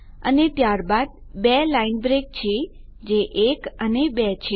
અને ત્યારબાદ 2 line break છે જે 1 અને 2 છે